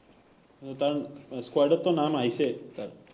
তাৰ squad ত টো নাম আহিছে তাৰ